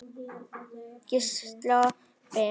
Gísla Ben.